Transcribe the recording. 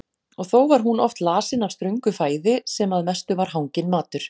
Og þó var hún oft lasin af ströngu fæði sem að mestu var hanginn matur.